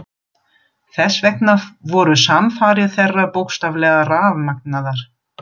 Þess vegna voru samfarir þeirra bókstaflega rafmagnaðar.